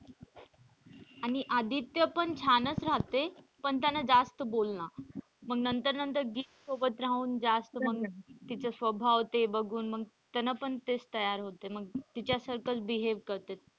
आणि आदित्य पण छानच राहते पण त्याला जास्त बोलणार मग नंतर नंतर गीत सोबत राहून मग जास्त मग तीच स्वभाव ते बघून मग त्याने पण तेच तयार होते मग तिच्यासारखाच behave करते.